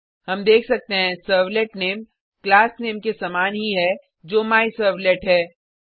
हम देख सकते हैं सर्वलेट नामे क्लास नामे के समान ही है जो मायसर्वलेट है